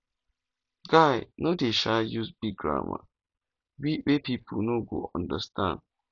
guy no dey um use big grammar wey pipo no go understand